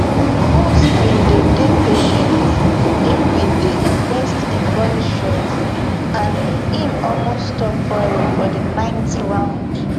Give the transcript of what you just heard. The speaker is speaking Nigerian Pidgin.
usyk bin dey dey patient im bin dey invest in body shots and im almost stop fury for di ninth round